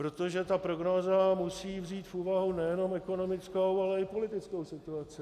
Protože ta prognóza musí vzít v úvahu nejenom ekonomickou, ale i politickou situaci.